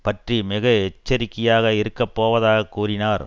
பற்றி மிக எச்சரிக்கையாக இருக்க போவதாகக் கூறினார்